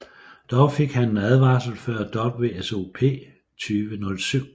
Dog fik han en advarsel før WSOP 2007